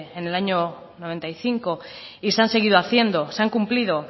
en el año noventa y cinco y se han seguido haciendo se han cumplido